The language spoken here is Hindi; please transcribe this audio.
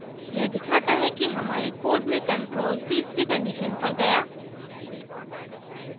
यह दिखाता है कि हमारे code में control तीसरी condition पर गया